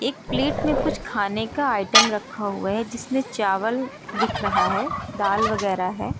एक प्लेट में कुछ खाने का आइटम रखा हुआ है जिसमें चावल दिख रहा है दाल वगैरा है।